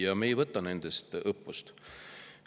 Aga me ei võta nendest õppust.